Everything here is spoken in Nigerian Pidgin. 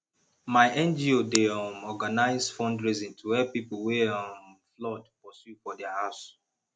my ngo dey um organise fundraising to help pipo wey um flood pursue for their house